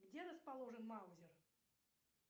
где расположен маузер